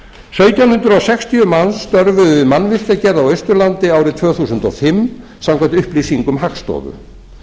sautján hundruð sextíu manns störfuðu við mannvirkjagerð á austurlandi árið tvö þúsund og fimm samkvæmt upplýsingum hagstofu